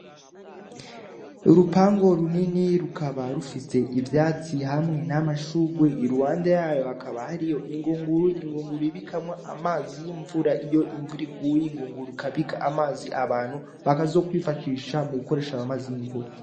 Urupangu runini rukaba rufise ivyatsi hamwe n'amashugwe, iruhande yayo hakaba hariho ingunguru, ingunguru babikamwo amazi y'imvura. Iyo imvura iguye ingunguru ikabika amazi, abantu bakazokwifashisha mu gukoresha amazi y'imvura.